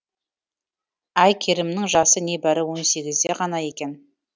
әйкерімнің жасы не бәрі он сегізде де ғана екен